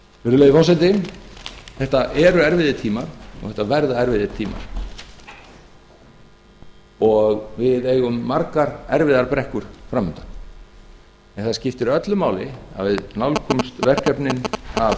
virðulegi forseti þetta eru erfiðir tímar og þetta verða erfiðir tímar og við eigum margar erfiðar brekkur fram undan það skiptir öllu máli að við nálgumst verkefnin